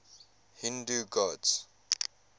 hindu gods